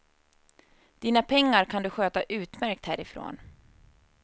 Dina pengar kan du sköta utmärkt härifrån.